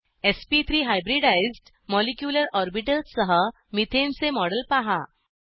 sp3 hybridized molecular orbitals सह methane चे model पहा